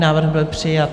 Návrh byl přijat.